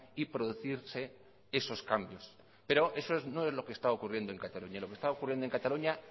y producirse esos cambios pero eso no es lo que está ocurriendo en cataluña lo que está ocurriendo en cataluña